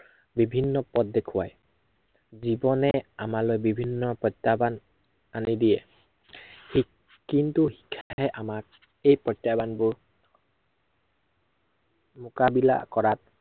বিভিন্ন পথ দেখুৱায়। জীৱনে আমালৈ বিভিন্ন প্ৰত্য়াহ্বান আনি দিয়ে। কিন্তু শিক্ষাই আমাক এই প্ৰত্য়াহ্বানবোৰ মোকাবিলা কৰাত